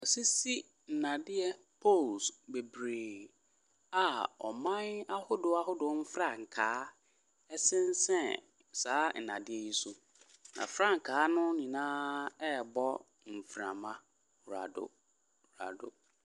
Wa sisi ndadeɛ poles bebree a ɔman ahodoɔ ahodoɔ frankaa ɛsisen saa ndadeɛ yɛ so na frankaa no nyinaa ɛbɔ mframa rado rado.